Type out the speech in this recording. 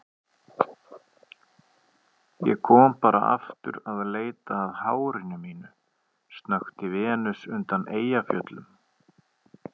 Ég kom bara aftur að leita að hárinu mínu, snökti Venus undan Eyjafjöllum.